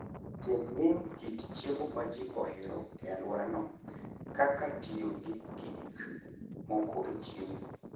Tem ng'eyo kit chiemo ma ji ohero e alworano, kaka tiyo gi gik moko e chiemo.